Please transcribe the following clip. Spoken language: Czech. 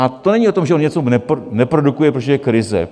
A to není o tom, že on něco neprodukuje, protože je krize.